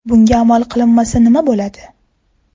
Bunga amal qilinmasa nima bo‘ladi?